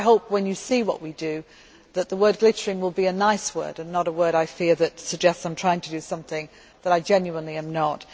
Therefore I hope, when you see what we do, that the word glittering' will be a nice word and not a word, I fear, that suggests I am trying to do something that I genuinely am not.